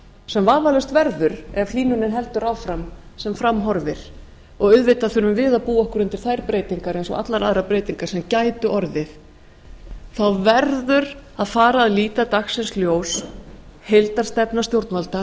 sem vafalaust verður ef hlýnunin heldur áfram sem fram horfir og auðvitað þurfum við að búa okkur undir þær breytingar eins og allar aðrar breytingar sem gætu orðið þá verður að fara að líta dagsins ljós heildarstefna stjórnvalda